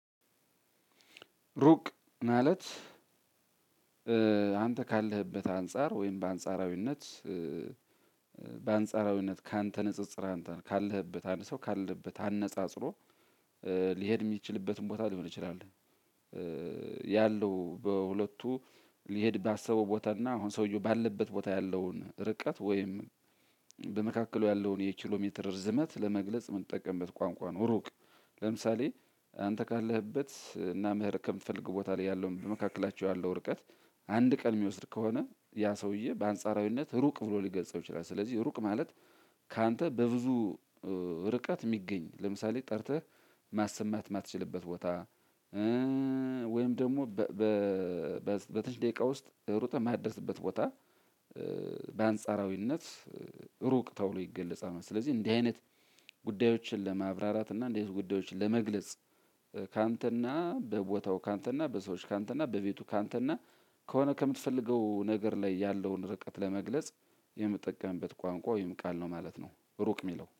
ሩቅ ማለት አንተ ካለህበት አንፃር ወይም በአንጻራዊነት በአንጻራዊነት ካንተ ንጽጽር ካለህበት አንድ ሰው ካለበት አነጻጽሮ ሊሄድ የሚችልበትን ቦታ ሊሆን ይችላል። ያለው በሁለቱ ሊሄድ ባሰበው ቦታ እና አሁን ሰውየው ባለበት ቦታ ያለውን ርቀት ወይም በመካከሉ ያለውን የኪሎሜትር ርዝመት ለመግለጽ የምንጠቀምበት ቋንቋ ነው። ሩቅ ለምሳሌ አንተ ካለህበት እና መሄድ ከምትፈልገው ቦታ ላይ ያለውን በመካከላቸው ያለው ርቀት አንድ ቀን የሚወስድ ከሆነ ያ ሰውዬ በአንጻራዊነት ሩቅ ብሎ ሊገልጸው ይችላል። ስለዚህ ሩቅ ማለት ካንተ በብዙ ርቀት የሚገኝ ለምሳሌ ጠርተህ ማሰማት ማትችልበት ቦታ። ወይም ደግሞ በትሽ ደቂቃ ውስጥ ሩጠህ የማደርስበት ቦታ በአንጻራዊነት ሩቅ ተብሎ ይገለጻል። ስለዚህ እንዲህ አይነት ጉዳዮችን ለማብራራት እና እንዲህ አይነት ጉዳዮችን ለመግለጽ ካንተና በቦታው ካንተና በሰዎች ካንተና በቤቱ ካንተና ከሆነ ከምትፈልገው ነገር ላይ ያለውን ርቀት ለመግለጽ የምጠቀምበት ቋንቋ ወይም ቃል ነው ማለት ነው። ሩቅ የሚለው